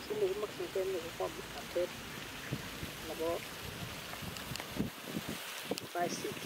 Kiit nekimokyimgei en yu ko ng'omnotet nebo [cs ICT